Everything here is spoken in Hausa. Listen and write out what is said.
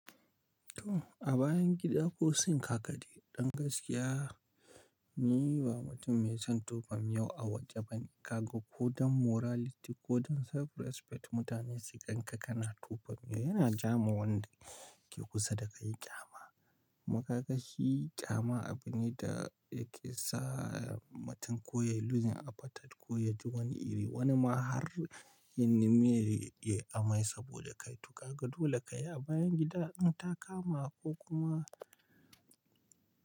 To a bayan gida ko sink hakade, dan gaskiya ni ba mutum mai son tufan miyau a waje bane. Ka ga ko don morality ko don self respect mutane su gan ka kana tufan yau yana jawo wanda ke kusa da kai ƙyama. Kuma ƙagashi ƙyama abu ne da yake sa mutum koyi luzzin abatar ko yaji wani iri. Wani ma har ya nemi ya yi amai saboda kaito. Ka ga dole ka yi a bayan gida in ta kama ko kuma.